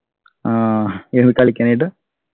ആഹ് ഇനി കളിക്കാനായിട്ട്